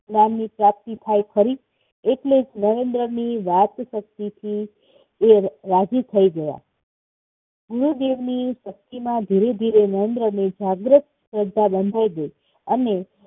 જ્ઞાનની પ્રાપ્તિ થાય ખરી? એટલે નરેન્દ્રની વાત પરથી એ રાજી થઇ ગયા. ગુરુજીની ભક્તિમાં ધીરે ધીરે નરેન્દ્રભાઈ જાગૃત થતા ગયા. અને